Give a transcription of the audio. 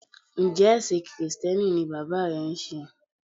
Njẹ́ ẹ̀ṣìn Kìrìsìtíẹ́nì ni bàbá rẹ ń sé?